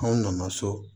Anw nana so